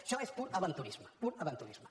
això és pur aventurisme pur aventurisme